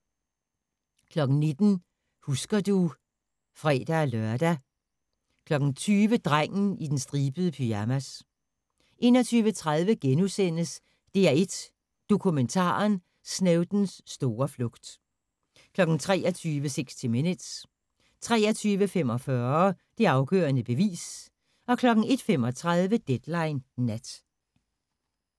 19:00: Husker du ... (fre-lør) 20:00: Drengen i den stribede pyjamas 21:30: DR1 Dokumentaren: Snowdens store flugt * 23:00: 60 Minutes 23:45: Det afgørende bevis 01:35: Deadline Nat